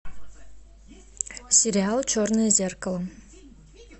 сериал черное зеркало